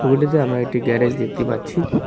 ছবিটিতে আমরা একটি গ্যারেজ দেখতে পাচ্ছি ।